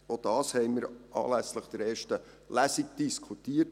Auch darüber haben wir anlässlich der ersten Lesung diskutiert.